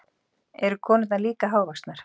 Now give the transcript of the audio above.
Eru konurnar líka hávaxnar?